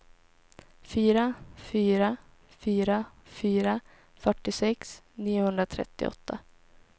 fyra fyra fyra fyra fyrtiosex niohundratrettioåtta